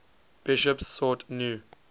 bishops sought new